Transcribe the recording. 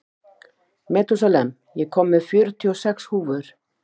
Metúsalem, ég kom með fjörutíu og sex húfur!